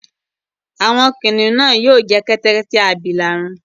Àwọn kìnnìún náà yóò jẹ kẹ́tẹ́kẹ́tẹ́ àbílà rún